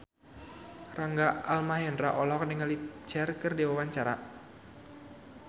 Rangga Almahendra olohok ningali Cher keur diwawancara